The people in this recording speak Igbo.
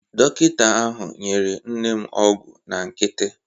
Dọkịta ahụ nyere nne m ọgwụ na nkịtị.